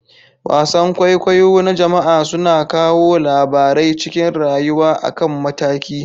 Wasan kwaikwayo na jama'a suna kawo labarai cikin rayuwa akan mataki.